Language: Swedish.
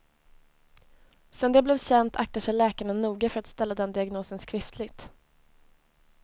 Sedan det blev känt aktar sig läkarna noga för att ställa den diagnosen skriftligt.